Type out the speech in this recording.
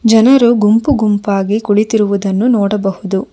ಜನರು ಗುಂಪು ಗುಂಪಾಗಿ ಕುಳಿತಿರುವುದನ್ನು ನೋಡಬಹುದು.